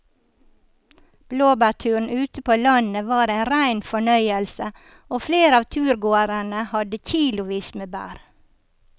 Blåbærturen ute på landet var en rein fornøyelse og flere av turgåerene hadde kilosvis med bær.